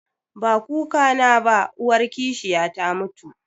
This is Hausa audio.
Ba kukana ba, uwar kishiya ta mutu